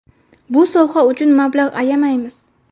Bu soha uchun mablag‘ ayamaymiz.